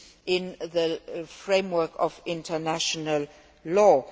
in the framework of international law.